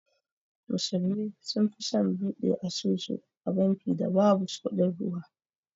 Musulmi sun fi son bude asusu a banki da babu kudin ruwa.